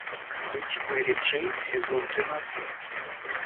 быть мери джей сезон тринадцать